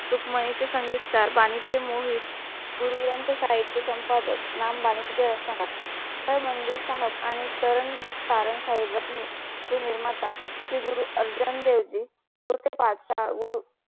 सुख माही चे संगीतकार बानीचे मोहित गुरु ग्रंथ साहिब चे संपदात नाम बानींचे असतानाथ हा मंदिर साहेब आणि तरं कारण साहिब सी निर्माता श्री गुरु अर्जन देवजी गुरु